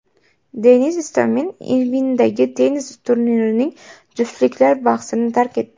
Denis Istomin Irvingdagi tennis turnirining juftliklar bahsini tark etdi.